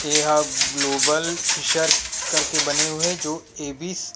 इ ह global fissure कर के बने हुए हे जो एबिस